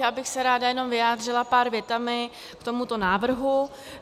Já bych se ráda jenom vyjádřila pár větami k tomuto návrhu.